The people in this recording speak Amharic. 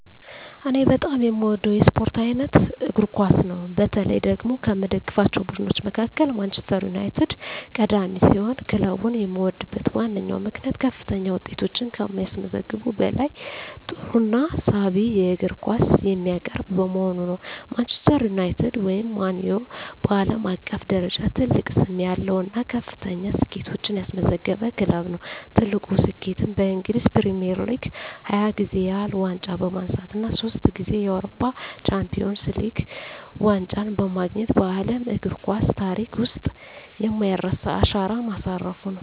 እኔ በጣም የምወደው የስፖርት አይነት እግር ኳስ ነው። በተለይ ደግሞ ከምደግፋቸው ቡድኖች መካከል ማንቸስተር ዩናይትድ ቀዳሚ ሲሆን፣ ክለቡን የምወድበት ዋነኛው ምክንያት ከፍተኛ ውጤቶችን ከማስመዝገቡም በላይ ጥሩና ሳቢ የእግር ኳስ የሚያቀርብ በመሆኑ ነው። ማንቸስተር ዩናይትድ (ማን ዩ) በዓለም አቀፍ ደረጃ ትልቅ ስም ያለው እና ከፍተኛ ስኬቶችን ያስመዘገበ ክለብ ነው። ትልቁ ስኬቱም በእንግሊዝ ፕሪሚየር ሊግ 20 ጊዜ ያህል ዋንጫ በማንሳት እና ሶስት ጊዜ የአውሮፓ ቻምፒየንስ ሊግ ዋንጫን በማግኘት በዓለም እግር ኳስ ታሪክ ውስጥ የማይረሳ አሻራ ማሳረፉ ነው።